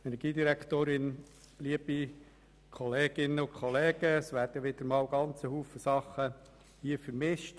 Nun werden wieder einmal sehr viele Dinge miteinander vermischt.